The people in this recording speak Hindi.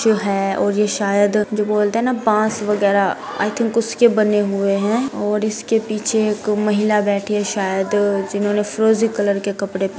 जो है और ये शायद जो बोलते है न बॉस वगेरा आई थिंक उसके बने हुए है और इसके पीछे एक महिला बैठी है शायद जिन्होंने फ्रोजी कलर के कपड़े--